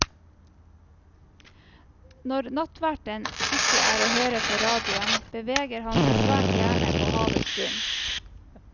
Når nattverten ikke er å høre på radioen, beveger han seg svært gjerne på havets bunn.